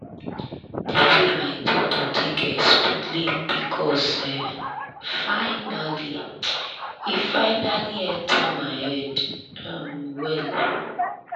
the way my doctor take explain pcos e finally e finally enter my head um well.